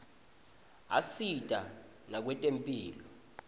asita nakwetemphilo